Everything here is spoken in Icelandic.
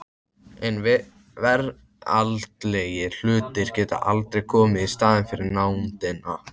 En veraldlegir hlutir geta aldrei komið í staðinn fyrir nándina.